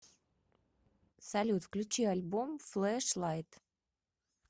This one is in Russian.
салют включи альбом флэшлайт